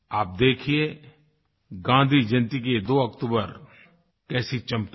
आप देखिए गाँधी जयंती की ये 2 अक्टूबर कैसी चमकेगी